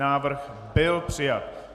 Návrh byl přijat.